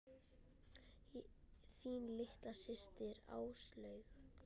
Þín litla systir, Áslaug.